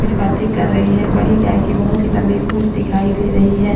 कुछ बातें कर रही हैं बड़ी गाय की बहुत ही लंबी पूंछ दिखाई दे रही है।